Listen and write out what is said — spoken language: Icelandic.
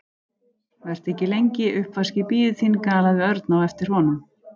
Vertu ekki lengi, uppvaskið bíður þín galaði Örn á eftir honum.